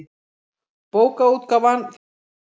Bókaútgáfan Þjóðsaga.